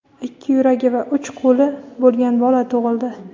ikki yuragi va uch qo‘li bo‘lgan bola tug‘ildi.